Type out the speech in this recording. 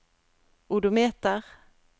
odometer